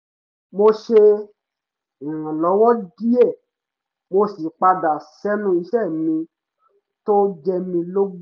mo ṣe ìrànlọ́wọ́ díẹ̀ mo sì padà sẹ́nu iṣẹ́ mi tó jẹ mí lógún